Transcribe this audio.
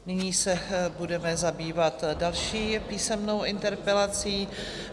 Nyní se budeme zabývat další písemnou interpelací.